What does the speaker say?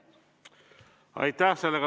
Aitäh!